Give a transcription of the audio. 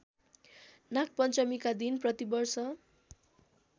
नागपञ्चमीका दिन प्रतिवर्ष